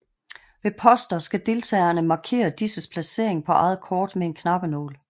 Ved poster skal deltagerne markere disses placering på eget kort med en knappenål